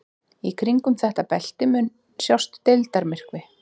Í kringum þetta belti mun sjást deildarmyrkvi.